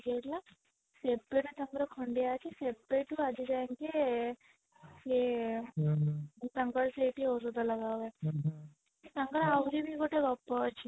ଯାଇଥିଲା ତାଙ୍କର ଖଣ୍ଡିଆ ଅଛି ସେବେଠୁ ଆଜି ଯା ଙ୍କେ ଏ ସିଏ ତାଙ୍କର ସେଠି ଔଷଧ ଲଗା ହୁଏ ତାଙ୍କର ଆହୁରି ବି ଗୋଟେ ଗପ ଅଛି